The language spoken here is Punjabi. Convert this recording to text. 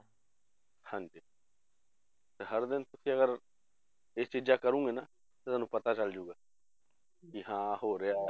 ਹਾਂਜੀ ਤੇ ਹਰ ਦਿਨ ਤੁਸੀਂ ਅਗਰ ਇਹ ਚੀਜ਼ਾਂ ਕਰੋਂਗੇ ਨਾ ਤੇ ਤੁਹਾਨੂੰ ਪਤਾ ਚੱਲ ਜਾਏਗਾ ਕਿ ਹਾਂ ਹੋ ਰਿਹਾ